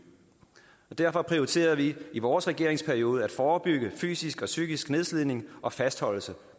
derfor prioriterede vi i vores regeringsperiode at forebygge fysisk og psykisk nedslidning og fastholdelse